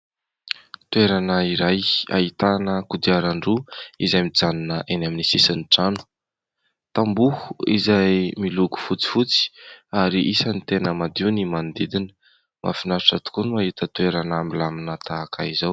Toerana iray ahitana kodiaran-droa izay mijanona eny amin'ny sisin'ny trano tamboho izay miloko fotsifotsy ary isan'ny tena madio ny manodidina mahafinaritra tokoa no mahita toerana milamina tahaka izao